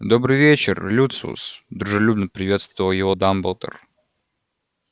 добрый вечер люциус дружелюбно приветствовал его дамблдор